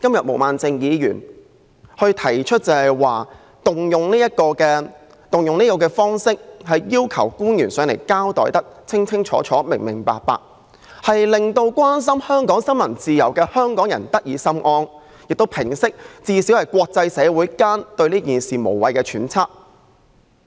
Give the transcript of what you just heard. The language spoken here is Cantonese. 毛孟靜議員動議這項議案的目的，是要求官員到本會把事件交代清楚，令關心香港新聞自由的香港人得以心安，以及最低限度平息國際社會對此事的無謂揣測。